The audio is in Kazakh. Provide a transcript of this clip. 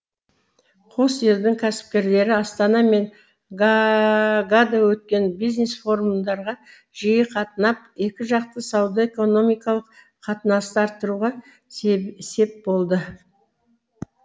қос елдің кәсіпкерлері астана мен гаагада өткен бизнес форумдарға жиі қатынап екіжақты сауда экономикалық қатынасты арттыруға сел сеп болды